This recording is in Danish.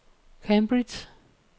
Cambridge